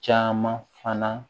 Caman fana